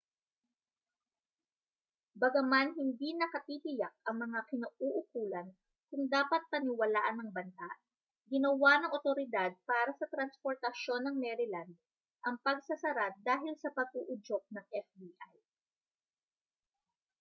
bagaman hindi nakatitiyak ang mga kinauukulan kung dapat paniwalaan ang banta ginawa ng awtoridad para sa transportasyon ng maryland ang pagsasara dahil sa pag-uudyok ng fbi